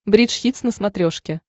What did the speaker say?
бридж хитс на смотрешке